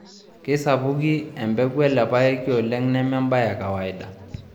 Keisapuki empeku ele payeki oleng neme embaye e kawaida